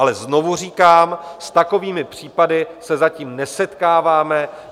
Ale znovu říkám, s takovými případy se zatím nesetkáváme.